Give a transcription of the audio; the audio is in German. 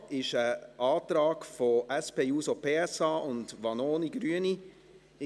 Dazu liegen ein Antrag der SP-JUSO-PSA und Vanoni/Grüne vor.